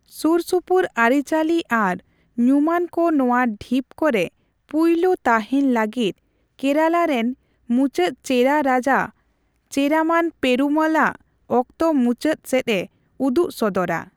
ᱥᱩᱨ ᱥᱩᱯᱩᱨ ᱟᱹᱨᱤᱪᱟᱹᱞᱤ ᱟᱨ ᱧᱩᱢᱟᱱ ᱠᱚ ᱱᱚᱣᱟ ᱰᱷᱤᱯ ᱠᱚᱨᱮ ᱯᱩᱭᱞᱩ ᱛᱟᱦᱮᱱ ᱞᱟᱹᱜᱤᱫ ᱠᱮᱨᱟᱞᱟ ᱨᱮᱱ ᱢᱩᱪᱟᱹᱫ ᱪᱮᱨᱟ ᱨᱟᱡᱟ ᱪᱮᱨᱟᱢᱟᱱ ᱯᱮᱨᱩᱢᱚᱞ ᱟᱜ ᱚᱠᱛᱚ ᱢᱩᱪᱟᱹᱫ ᱥᱮᱫᱼᱮ ᱩᱫᱩᱜ ᱥᱚᱫᱚᱨᱟ ᱾